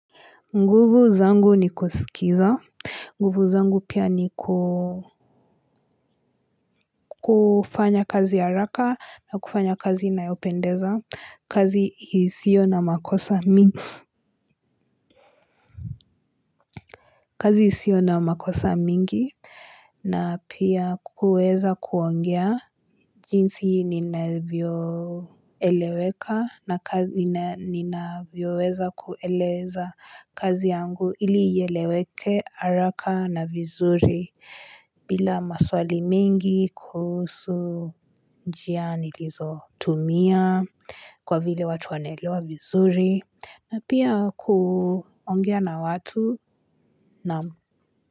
Nguvu zangu ni kuskiza. Nguvu zangu pia ni kufanya kazi haraka na kufanya kazi inayopendeza. Kazi isio na makosa mingi na pia kuweza kuongea jinsi ninavyo eleweka na kazi ninavyo weza kueleza kazi yangu ili ieleweke araka na vizuri bila maswali mingi kuhusu njia nilizo tumia kwa vile watu wanelewa vizuri na pia kuongea na watu naam.